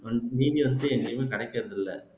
நீதி அரசே எங்கேயுமே கிடைக்கிறதில்ல